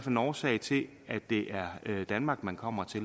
en årsag til at det er danmark man kommer til